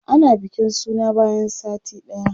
ana bikin suna bayan sati ɗaya